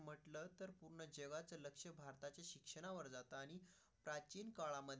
आमच्यावर जात आहे प्राचीन काळामध्ये.